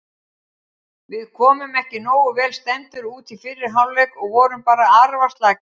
Við komum ekki nógu vel stemmdir út í fyrri hálfleik og vorum bara arfaslakir.